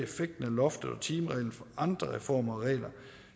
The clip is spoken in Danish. loftet og timereglen fra andre reformer og regler